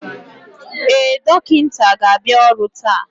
Ee, dọkịta ga-abịa ọrụ taa